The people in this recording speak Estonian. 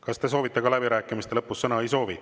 Kas te soovite läbirääkimiste lõpus sõna?